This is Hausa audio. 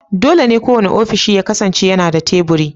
Dole ne kowane ofishi ya kasance yana da teburi